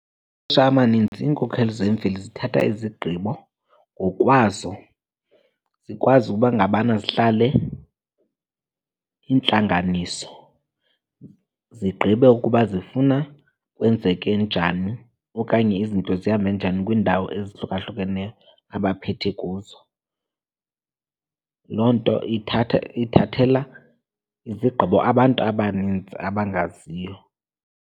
amaninzi iinkokheli zemveli zithatha izigqibo ngokwazo. Zikwazi ukuba ngabana zihlale iintlanganiso zigqibe ukuba zifuna kwenzeke njani okanye izinto zihambe njani kwiindawo ezihlukahlukeneyo abaphethe kuzo. Loo nto ithatha, ithathela izigqibo abantu abanintsi abangaziyo.